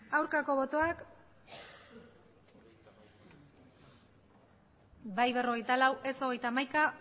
aurkako botoak bai berrogeita lau ez hogeita hamaika